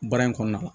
Baara in kɔnɔna la